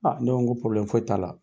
ne ko ko foyi t'a la.